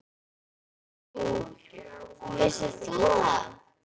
Nú, vissir þú það?